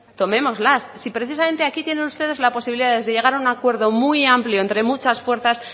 tomémoslas si precisamente aquí tienen ustedes la posibilidad de llegar a un acuerdo muy amplio entre muchas fuerzas